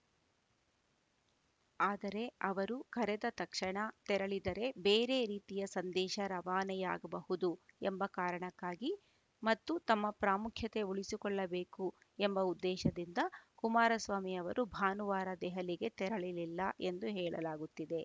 ಆದರೆ ಅವರು ಕರೆದ ತಕ್ಷಣ ತೆರಳಿದರೆ ಬೇರೆ ರೀತಿಯ ಸಂದೇಶ ರವಾನೆಯಾಗಬಹುದು ಎಂಬ ಕಾರಣಕ್ಕಾಗಿ ಮತ್ತು ತಮ್ಮ ಪ್ರಾಮುಖ್ಯತೆ ಉಳಿಸಿಕೊಳ್ಳಬೇಕು ಎಂಬ ಉದ್ದೇಶದಿಂದ ಕುಮಾರಸ್ವಾಮಿ ಅವರು ಭಾನುವಾರ ದೆಹಲಿಗೆ ತೆರಳಲಿಲ್ಲ ಎಂದು ಹೇಳಲಾಗುತ್ತಿದೆ